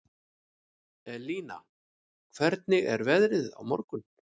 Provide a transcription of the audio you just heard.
Elina, hvernig er veðrið á morgun?